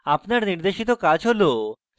আপনার জন্য নির্দেশিত কাজ রয়েছে